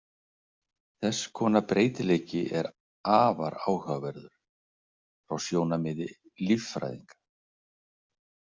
Þess konar breytileiki er afar áhugaverður frá sjónarmiði líffræðinga.